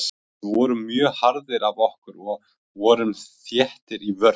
Við vorum mjög harðir af okkur og vorum þéttir í vörn.